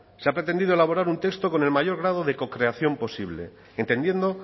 se ha pretendido elaborar un texto con el mayor grado de cocreación posible entendiendo